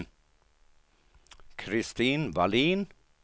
Kristin Vallin